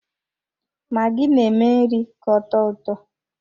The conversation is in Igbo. Magi na-eme nri ka ọtọ ụtọ.